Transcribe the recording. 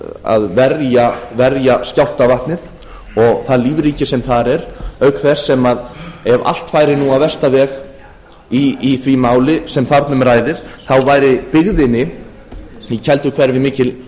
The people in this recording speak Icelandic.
að verja skjálftavatnið og það lífríki sem þar er auk þess sem ef allt færi nú á versta veg í því máli sem þarna um ræðir þá væri byggðinni í kelduhverfi mikil